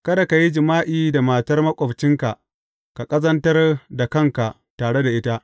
Kada ka yi jima’i da matar maƙwabcinka ka ƙazantar da kanka tare da ita.